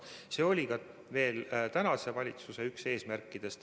See oli ka tänase valitsuse üks eesmärkidest.